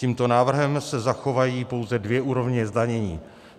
Tímto návrhem se zachovají pouze dvě úrovně zdanění.